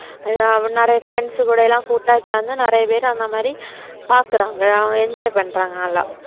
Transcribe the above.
அதாவது நிறைய friends கூட எல்லாம் கூட்டா சேந்து நிறைய பேர் அந்த மாதிரி பாக்குறாங்க ஆமா enjoy பண்றாங்க நல்லா